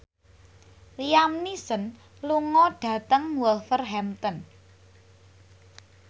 Liam Neeson lunga dhateng Wolverhampton